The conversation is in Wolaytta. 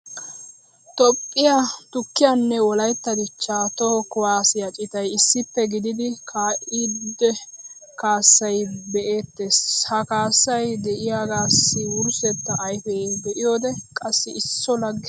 toophphiyaa tukkiyaanne wolaytta dichchaa toho kuwaassiya citay issippe gididi kaa'iddo kaasaa be'eetees. ha kaassay diyaagaassi wurssetta ayfee be'iyoode qassi isso lage.